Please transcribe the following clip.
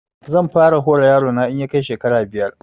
Zan fara hora yaro na in ya kai shekara biyar